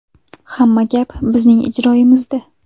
Hamma gap bizning ijroyimizda.